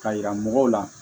Ka yira mɔgɔw la